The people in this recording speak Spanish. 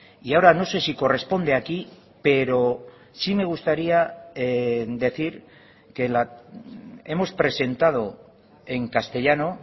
y ahora no sé si corresponde aquí pero sí me gustaría decir que hemos presentado en castellano